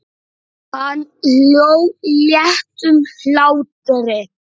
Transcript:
Hann hló léttum hlátri.